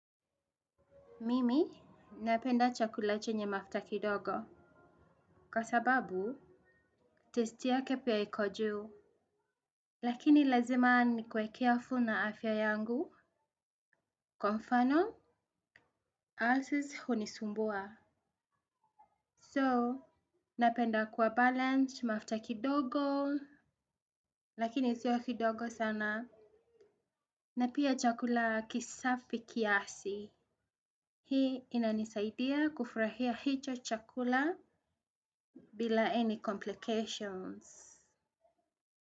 Mimi, napenda chakula chenye mafuta kidogo. Kwa sababu, taste yake pia iko juu. Lakini lazima nikuwe careful na afya yangu. Kwa mfano, asses hunisumbua. So, napenda kuwa balanced mafuta kidogo. Lakinio sio kidogo sana. Na pia chakula kisafi kiasi. Hii inanisaidia kufurahia hicho chakula bila any complications.